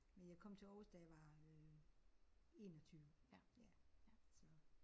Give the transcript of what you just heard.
Men jeg kom til Aarhus da jeg var øh 21 ja så